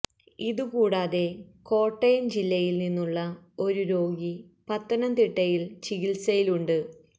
ഇതു കൂടാതെ കോട്ടയം ജില്ലയില് നിന്നുളള ഒരു രോഗി പത്തനംതിട്ടയില് ചികില്സയിലുണ്ട്